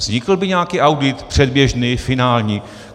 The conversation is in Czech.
Vznikl by nějaký audit, předběžný, finální?